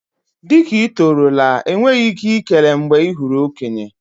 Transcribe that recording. Dị ka ị tọrọ la, enweghị ike ikele mgbe ị hụrụ okenye.